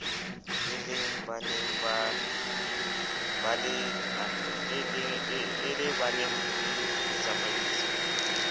e le baneng le ditsamaiso